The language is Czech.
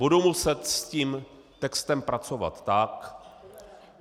Budu muset s tím textem pracovat tak...